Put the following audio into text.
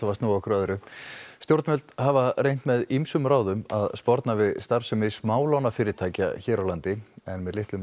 að snúa okkur að öðru stjórnvöld hafa reynt með ýmsum ráðum að sporna við starfsemi smálánafyrirtækja hér á landi en með litlum